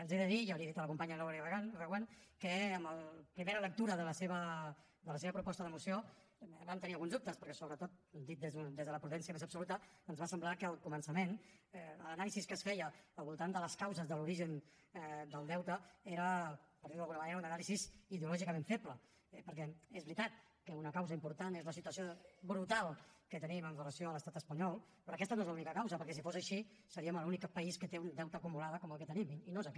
els he de dir i ja li ho he dit a la companya eulàlia reguant que en la primera lectura de la seva proposta de moció vam tenir alguns dubtes perquè sobretot dit des de la prudència més absoluta ens va semblar que al començament l’anàlisi que es feia al voltant de les causes de l’origen del deute era per dir ho d’alguna manera una anàlisi ideològicament feble perquè és veritat que una causa important és la situació brutal que tenim amb relació a l’estat espanyol però aquesta no és l’única causa perquè si fos així seriem l’únic país que té un deute acumulat com el que tenim i no és aquest